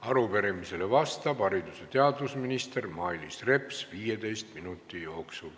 Arupärimisele vastab haridus- ja teadusminister Mailis Reps kõigepealt 15 minuti jooksul.